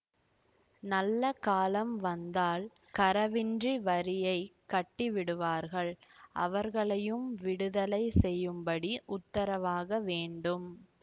நல்ல காலம் வந்தால் கரவின்றி வரியைக் கட்டிவிடுவார்கள் அவர்களையும் விடுதலை செய்யும்படி உத்தரவாக வேண்டும்